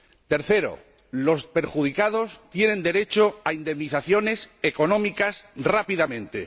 Tercero los perjudicados tienen derecho a indemnizaciones económicas rápidamente.